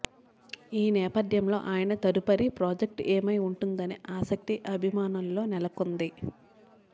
ఈ నేపథ్యంలో ఆయన తదుపరి ప్రాజెక్టు ఏమై వుంటుందనే ఆసక్తి అభిమానుల్లో నెలకొంది